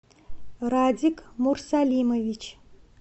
радик мурсалимович